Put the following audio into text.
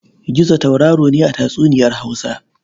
Gizo tauraro ne a tatsuniyar Hausa.